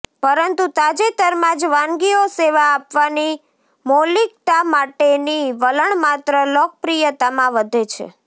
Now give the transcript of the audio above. પરંતુ તાજેતરમાં જ વાનગીઓ સેવા આપવાની મૌલિક્તા માટેની વલણ માત્ર લોકપ્રિયતામાં વધે છે